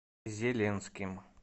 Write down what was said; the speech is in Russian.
зеленским